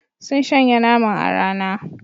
Sun shanya naman a rana.